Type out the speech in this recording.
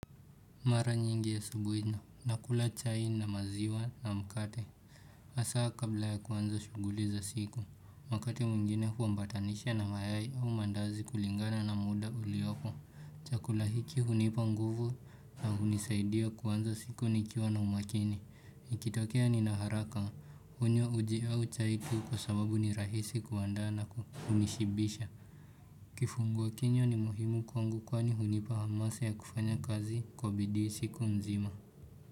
Mara nyingi asubuhi na. Nakula chai na maziwa na mkate. Haswa kabla ya kuanza shughuli za siku. Mkate mwingine humbatanisha na mayai au mandazi kulingana na muda ulioko. Chakula hiki hunipa nguvu na hunisaidia kuanza siku nikiwa na umakini. Ikitokea nina haraka. Hunywa uji au chai kuu kwa sababu ni rahisi kuandaa na kunishibisha. Kifungua kinywa ni muhimu kwangu kwani hunipa hamasa ya kufanya kazi kwa bidii siku mzima.